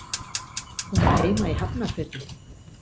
Hún á heima í Hafnarfirði.